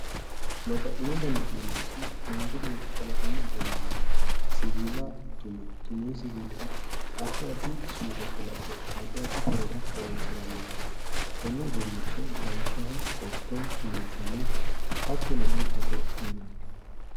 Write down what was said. babbaxxino dani uduunnichi manchi beetti kalaqamu egennonni siwiila tume tumino siwiilira addi addi suude kalaqe addi addi horora horonsiranno konne uduunnicho lawishshaho qotto meesane hattono urdete yinanni